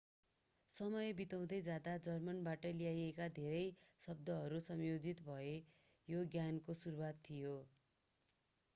समय बित्दै जाँदा जर्मनबाट लिइएका धेरै शब्दहरू संयोजित भए यो ज्ञानको सुरुवात थियो